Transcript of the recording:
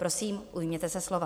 Prosím, ujměte se slova.